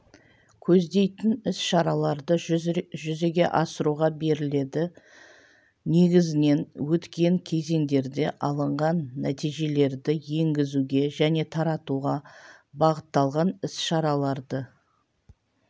көздейтін іс-шараларды жүзеге асыруға беріледі негізінен өткен кезеңдерде алынған нәтижелерді енгізуге және таратуға бағытталған іс-шараларды